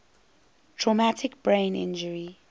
traumatic brain injury